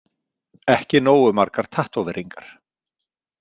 Ekki nógu margar tattóveringar?